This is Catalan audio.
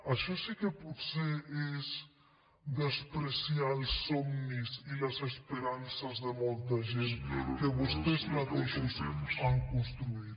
això sí que potser és menysprear els somnis i les esperances de molta gent que vostès mateixos han construït